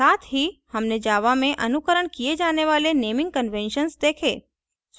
साथ ही हमने java में अनुकरण किए java वाले naming conventions देखें